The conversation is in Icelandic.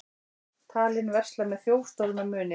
Talinn versla með þjófstolna muni